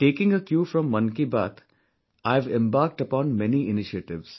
Taking a cue from Mann Ki Baat, I have embarked upon many initiatives